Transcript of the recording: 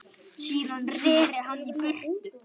Síðan reri hann í burtu.